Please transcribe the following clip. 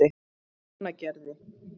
Mánagerði